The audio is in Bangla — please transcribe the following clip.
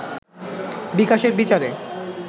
বিকাশের বিচারে